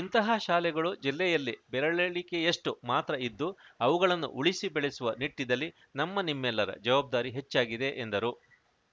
ಇಂತಹ ಶಾಲೆಗಳು ಜಿಲ್ಲೆಯಲ್ಲಿ ಬೆರಳೆಣಿಕೆಯಷ್ಟುಮಾತ್ರ ಇದ್ದು ಅವುಗಳನ್ನು ಉಳಿಸಿ ಬೆಳೆಸುವ ನಿಟ್ಟಿನಲ್ಲಿ ನಮ್ಮ ನಿಮ್ಮೆಲ್ಲರ ಜವಾಬ್ದಾರಿ ಹೆಚ್ಚಾಗಿದೆ ಎಂದರು